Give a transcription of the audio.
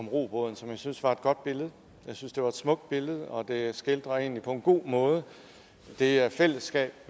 robåden som jeg synes var et godt billede jeg synes det var et smukt billede og det skildrer egentlig på en god måde det her fællesskab